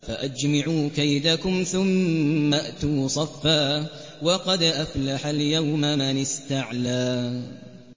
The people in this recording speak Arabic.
فَأَجْمِعُوا كَيْدَكُمْ ثُمَّ ائْتُوا صَفًّا ۚ وَقَدْ أَفْلَحَ الْيَوْمَ مَنِ اسْتَعْلَىٰ